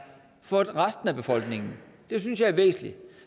for resten af befolkningen det synes jeg er væsentligt